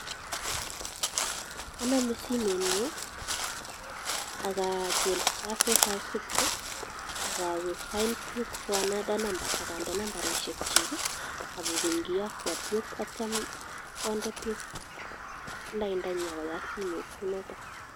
Anamen simenyu ak achil *456* ak awe find PUK for another number ak ande nambarishkchik ak akeny kiyakwa puk atiam konde PUK laindanyin ak koyat simet kou notok.